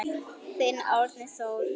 Þinn Árni Þór.